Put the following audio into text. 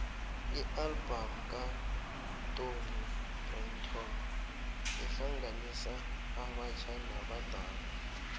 ialbum katoni braxton ihlanganisa abatjha nabadala